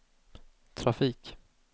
trafik